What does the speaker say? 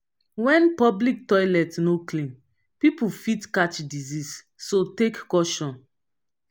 when public toilet no clean pipo fit catch disease so take caution